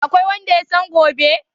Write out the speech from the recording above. Akwai wanda yasan gobe?